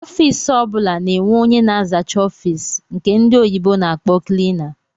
Ọffici ọbula na-enwe ónyé na-azacha ọffici nke ndị oyibo na-akpọ"cleaner"